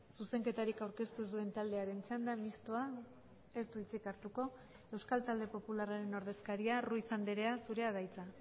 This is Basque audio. zuzenketarik aurkeztu ez duen taldearen txanda mistoa ez du hitzik hartuko euskal talde popularraren ordezkaria ruiz andrea zurea da hitza